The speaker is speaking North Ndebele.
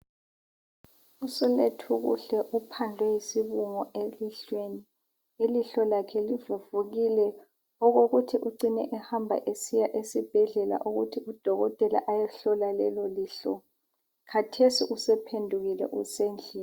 USilethukuhle uphandlwe yisibungu elihlweni . Ilihlo lakhe livuvukile okokuthi ucine ehamba esibhedlela ukuthi udokotela ayehlola lelo lihlo. Khathesi uphendukile usendlini.